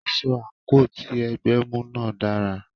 Aṣọ/àǹkò tí ẹgbẹ́ mú náà dára.